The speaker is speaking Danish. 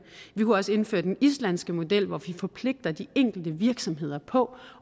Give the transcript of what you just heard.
vi kunne også indføre den islandske model hvor vi forpligter de enkelte virksomheder på